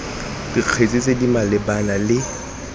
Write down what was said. dikgetse tse di malebana le